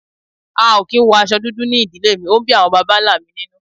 a o ki n wo aṣọ dudu ní ìdílé mí, o n bí awọn bàbá ńlá mí ninú